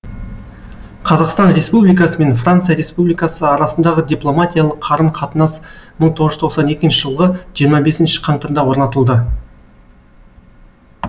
қазақстан республикасы мен франция республикасы арасындағы дипломатиялық қарым қатынас мың тоғыз жүз тоқсан екінші жылғы жиырма бесінші қаңтарда орнатылды